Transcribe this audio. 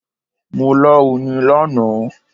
Mo lá oyin lánàá.